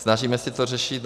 Snažíme se to řešit.